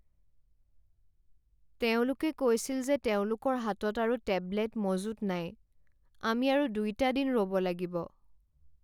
তেওঁলোকে কৈছিল যে তেওঁলোকৰ হাতত আৰু টেবলেট মজুত নাই। আমি আৰু দুইটা দিন ৰ'ব লাগিব।